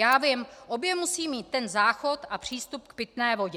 Já vím, obě musí mít ten záchod a přístup k pitné vodě.